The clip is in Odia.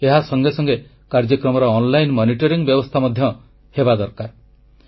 ଏହା ସଙ୍ଗେ ସଙ୍ଗେ କାର୍ଯ୍ୟକ୍ରମର ଅନଲାଇନ ମନିଟରିଂ ବ୍ୟବସ୍ଥା ମଧ୍ୟ ହେବା ଦରକାର